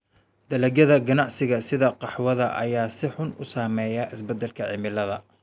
Dalagyada ganacsiga sida qaxwada ayaa si xun u saameeya isbeddelka cimilada.